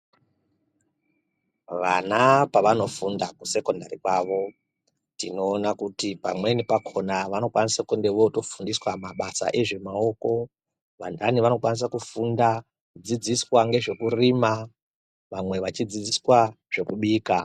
Vana pavanofunda kusekondari kwavo ,tinoona kuti pamweni pakhona vanokwanisa kunge votofundiswa mabasa ezvemaoko. Vanhani vanokwanisa kufundiswa, kudzidziswa ngezvekurima, vamwe vechidzidziswa ngezvekubika.